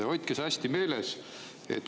Hoidke see hästi meeles.